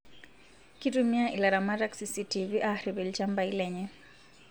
Kitumia ilaramatak cctv ariip ilchambai lenye